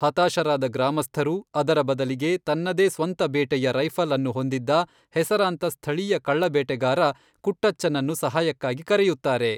ಹತಾಶರಾದ ಗ್ರಾಮಸ್ಥರು, ಅದರ ಬದಲಿಗೆ, ತನ್ನದೇ ಸ್ವಂತ ಬೇಟೆಯ ರೈಫಲ್ಅನ್ನು ಹೊಂದಿದ್ದ ಹೆಸರಾಂತ ಸ್ಥಳೀಯ ಕಳ್ಳ ಬೇಟೆಗಾರ ಕುಟ್ಟಚ್ಚನ್ನನ್ನು ಸಹಾಯಕ್ಕಾಗಿ ಕರೆಯುತ್ತಾರೆ.